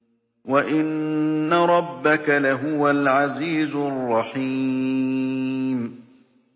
وَإِنَّ رَبَّكَ لَهُوَ الْعَزِيزُ الرَّحِيمُ